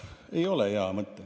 Ei ole hea mõte.